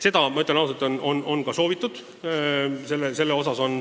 Ma ütlen ausalt, et seda on soovitud.